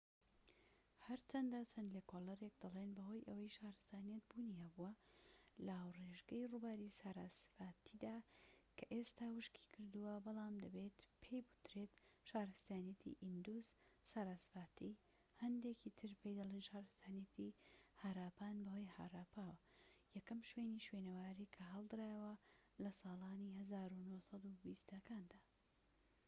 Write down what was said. هەرچەندە چەند لێکۆڵیەرێك دەڵێن بەهۆی ئەوەی شارستانیەت بوونی هەبووە لە ئاوڕێژگەی ڕووباری ساراسڤاتیدا کە ئێستا وشکی کردووە، بەڵام دەبێت پێی بووترێت شارستانیەتی ئیندوس-ساراسڤاتی، هەندێکی تر پێی دەڵێن شارستانیەتی هاراپان بەهۆی هاراپاوە، یەکەم شوێنی شوێنەواریی کە هەڵدرایەوە لە سالانی ١٩٢٠ ەکاندا